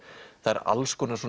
það eru alls konar